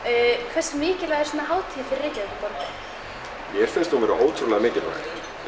hversu mikilvæg er svona hátíð fyrir Reykjavíkurborg mér finnst hún vera ótrúlega mikilvæg